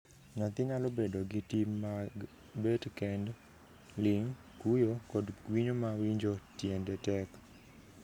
Nyathi nyalo bedo gi tim mag bet kend, ling', kuyo, kod kwinyo ma winjo tiend tek.